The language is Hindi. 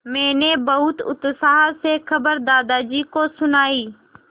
मैंने बहुत उत्साह से खबर दादाजी को सुनाई